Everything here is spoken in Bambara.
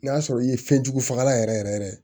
N'a sɔrɔ i ye fɛnjugu fagalan yɛrɛ yɛrɛ